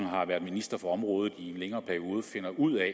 har været minister for området i en længere periode finder ud af